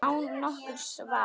Án nokkurs vafa.